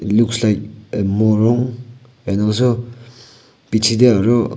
looks like morung and also bichae tae aru.